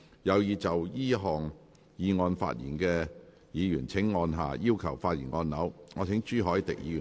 有意就這項議案發言的議員請按下"要求發言"按鈕。